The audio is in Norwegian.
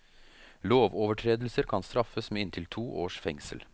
Lovovertredelser kan straffes med inntil to års fengsel.